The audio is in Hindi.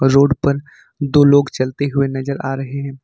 रोड पर दो लोग चलते हुए नजर आ रहे हैं।